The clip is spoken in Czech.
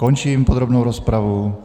Končím podrobnou rozpravu.